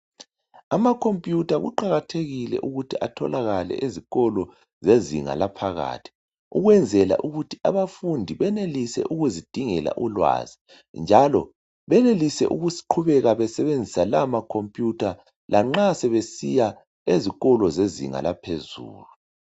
Amakhompiyutha kuqakathekile ukuthi atholakale ezikolo zezinga laphakathi ukwenzela ukuthi abafundi benelise ukuzidingela ulwazi njalo benelise ukuqhubeka besebenzisa lawo makhompiyutha la nxa sebesiya ezikolo zezinga laphezulu.